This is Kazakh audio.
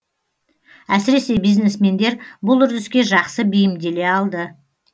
әсіресе бизнесмендер бұл үрдіске жақсы бейімделе алды